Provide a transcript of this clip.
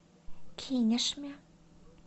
кинешме